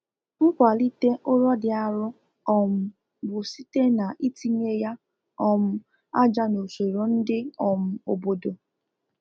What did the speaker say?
nkwalite ụrọ dị arụ um bụ site na-itinye ya um aja n'usoro ndi um obodo